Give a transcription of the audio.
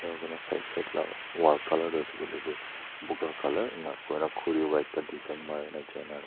Ena kona side side la wall colour tuh ase koile tuh buka colour ena kurna khuri pra ekta design marena jaina--